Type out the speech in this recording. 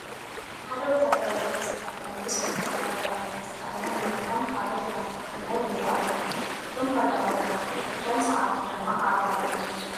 ሓደ ወታደራዊ ጃኼትን ዝተኸደነ ምስ ወታደራዊ ባርኔጣ ዝተኸደነ መሪሖም ካልኦት እናተኸተልዎም ይርአ ኣሎ፡፡ እቶም ቀዳሞት መራሕቲ እቶም ሰዓብቲ ጅማ ኣጋር እዮም ዝመስሉ፡፡